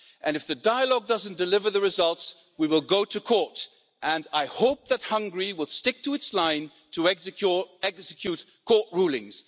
If the dialogue doesn't deliver the results, we will go to court, and I hope that Hungary will stick to its line to execute court rulings.